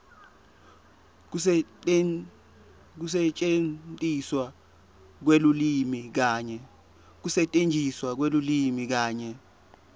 kusetjentiswa kwelulwimi kanye